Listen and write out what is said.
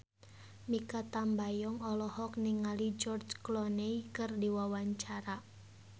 Mikha Tambayong olohok ningali George Clooney keur diwawancara